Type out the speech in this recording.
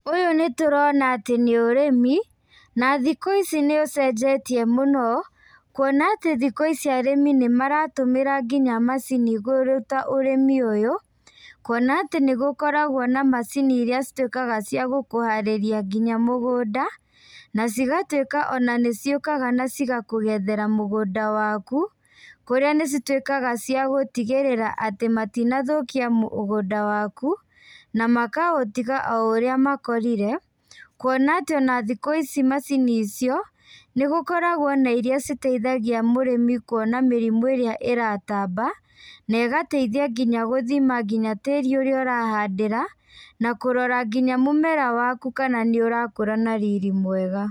Ũyũ nĩtũrona atĩ nĩ ũrĩmi, na thikũ ici nĩ ũcenjetie mũno, kuona atĩ thikũ ici arĩmi nĩmaratũmĩra nginya macini kũruta ũrĩmi ũyũ, kuona atĩ nĩgũkoragwo na macini iria cituĩkaga cia gũkũharĩria nginya mũgũnda, na cigatuĩka ona nĩciũkaga nacigakũgethera mũgũnda waku, kũrĩa nĩcituĩkaga cia gũtigĩrĩra atĩ matinathũkia mũgũnda waku, na makaũtiga o ũrĩa makorire, kuona atĩ ona thikũ ici macini icio, nĩgũkoragwo na iria citeithagia mũrĩmi kuona mĩrimũ ĩrĩa ĩratamba, na ĩgateithia nginya gũthima nginya tĩri ũrĩa ũrahandĩra, na kũrora nginya mũmera waku kana nĩũrakũra na riri mwega.